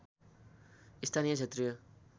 स्थानीय क्षेत्रीय